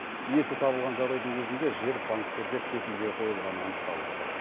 иесі табылған жағдайдың өзінде жер банктерге кепілге қойылғаны анықталып отыр